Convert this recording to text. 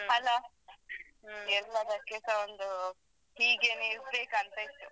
ಅಲಾ ಎಲ್ಲಾದಕ್ಕೆಸ ಒಂದು ಹೀಗೆನೆ ಇರ್ಬೇಕಂತ ಇತ್ತು.